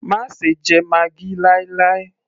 má ṣe jẹ maggi láì láì